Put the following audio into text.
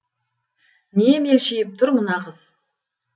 не мелшиіп тұр мына қыз